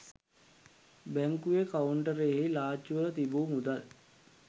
බැංකුවේ කවුන්ටරයෙහි ලාච්චුවල තිබූ මුදල්